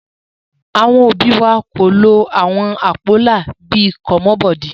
Àwọn òbí wa kò lo àwọn àpólà bí i "commot body"